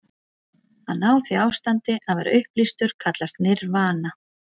Að ná því ástandi, að vera upplýstur, kallast nirvana.